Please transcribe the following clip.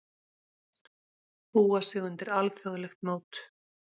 Búa sig undir alþjóðlegt mót